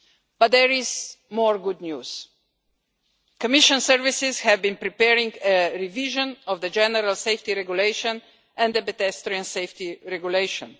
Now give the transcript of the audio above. But there is more good news. Commission services have been preparing a revision of the general safety regulation and a pedestrian safety regulation.